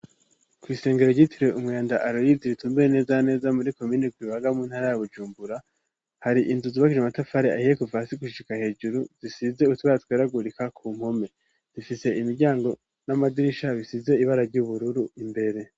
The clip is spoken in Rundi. Kw'isengero ryitiruwe umwanda aloyidi ritumbure nezaneza muri ko miniku bibaga muntara ya bujumbura hari inzu zubakije amatafari ahiye kuva si gushishika hejuru zisize utwaratweragurika ku nkome difise imiryango n'amadirisha bisize ibara ry'ubururu imbere.